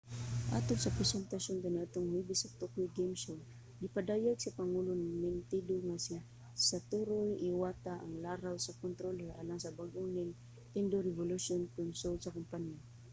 atol sa presentasyon kaniadtong huwebes sa tokyo game show gipadayag sa pangulo sa nintendo nga si satoru iwata ang laraw sa controller alang sa bag-ong nintendo revolution console sa kompanya